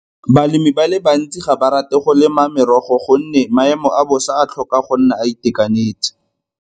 Balemi ba le bantsi ga ba rate go lema merogo gonne maemo a bosa a tlhoka go nna a itekanetse.